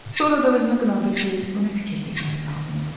Sonra da özünü qınadı ki, bu nə fikir də gəlir ağlına?